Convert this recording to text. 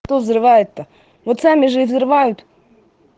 кто взрывает то вот сами же и взрывают